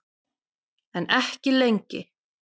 En ekki lengi.